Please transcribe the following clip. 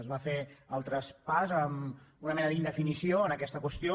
es va fer el traspàs amb una mena d’indefinició en aquesta qüestió